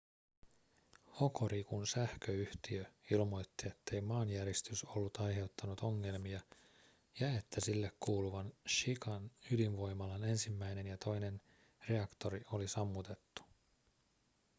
hokorikun sähköyhtiö ilmoitti ettei maanjäristys ollut aiheuttanut ongelmia ja että sille kuuluvan shikan ydinvoimalan ensimmäinen ja toinen reaktori oli sammutettu